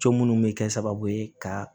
Co munnu bɛ kɛ sababu ye ka